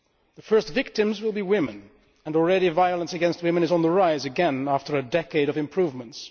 The first victims will be women, and already violence against women is on the rise again, after a decade of improvements.